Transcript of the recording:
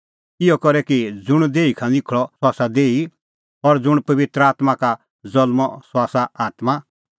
इहअ करै कि ज़ुंण देही का निखल़अ सह आसा देही और ज़ुंण पबित्र आत्मां का ज़ल्मअ सह आसा आत्मां